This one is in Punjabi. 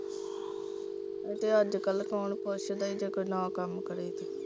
ਇਹ ਤੇ ਅੱਜ ਕੱਲ ਕੌਣ ਪੁੱਛਦਾ ਈ ਜੇ ਕੋਈ ਨਾ ਕੰਮ ਕਰੇ ਤੇ।